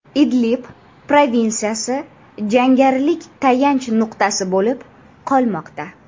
Idlib provinsiyasi jangarilar tayanch nuqtasi bo‘lib qolmoqda.